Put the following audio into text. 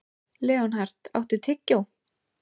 Leonhard, áttu tyggjó?